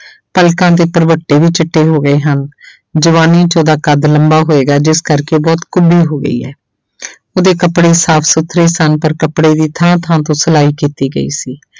ਪਲਕਾਂ ਦੇ ਭਰਵੱਟੇ ਵੀ ਚਿੱਟੇ ਹੋ ਗਏ ਹਨ ਜਵਾਨੀ 'ਚ ਉਹਦਾ ਕੱਦ ਲੰਬਾ ਹੋਏਗਾ ਜਿਸ ਕਰਕੇ ਬਹੁਤ ਕੁੱਬੀ ਹੋ ਗਈ ਹੈ ਉਹਦੇ ਕੱਪੜੇ ਸਾਫ਼ ਸੁੱਥਰੇ ਸਨ ਪਰ ਕੱਪੜੇ ਵੀ ਥਾਂ ਥਾਂ ਤੋਂ ਸਿਲਾਈ ਕੀਤੀ ਗਈ ਸੀ।